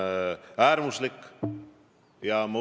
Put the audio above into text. See võeti väga positiivselt vastu.